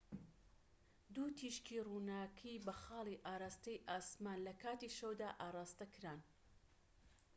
دوو تیشکی ڕووناكی بە خاڵی ئاڕاستەی ئاسمان لە کاتی شەودا ئاڕاستەکران